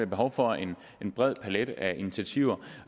behov for en bred palet af initiativer